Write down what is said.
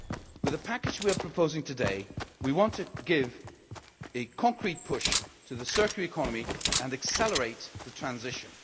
With the package we are proposing today, we want to give a concrete push to the circular economy and accelerate the transition.